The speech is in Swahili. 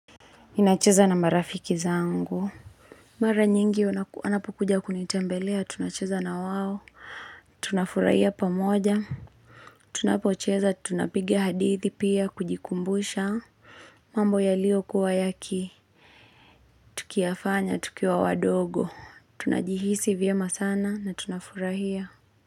Ninacheza na marafiki zangu. Mara nyingi anapokuja kunitembelea. Tunacheza na wawo. Tunafurahia pa moja. Tunapocheza. Tunapigi hadithi pia kujikumbusha. Mambo ya lio kuwa yaki. Tukiafanya. Tukiwa wadogo. Tunajihisi vye masana. Na tunafurahia.